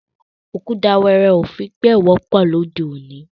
Ọ̀kùtà wẹẹrẹ́ o fi bẹ̀ẹ̀ wọ̀pọ̀ lọdẹ́ ọ̀ní.